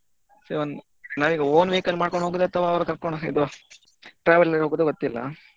ನಾವ್ ಈಗ own vehicle ಮಾಡ್ಕೊಂಡ್ ಹೋಗುದಾ ಅಥವಾ ಕರ್ಕೊಂಡ್ ಇದು traveller ಅಲ್ಲಿ ಹೋಗುದಾ ಗೊತ್ತಿಲ್ಲ.